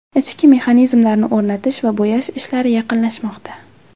Ichki mexanizmlarni o‘rnatish va bo‘yash ishlari yaqinlashmoqda.